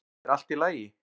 er allt í lagi